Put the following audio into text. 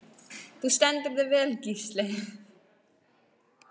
Þú stendur þig vel, Gísli!